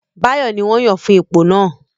Báyọ̀ ní wọ́n yàn fún ipò náà